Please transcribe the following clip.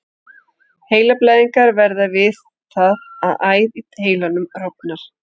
Heilablæðingar verða við það að æð í heilanum rofnar.